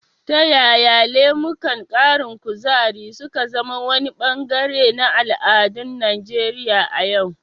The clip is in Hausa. Ta yaya lemukan ƙarin kuzari su ka zama wani bangare na al'adun Najeriya a yau?